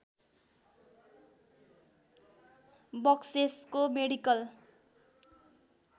बक्सेसको medical